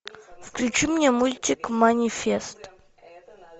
включи мне мультик манифест